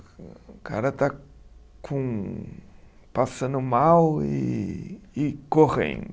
O cara está com passando mal e e correndo.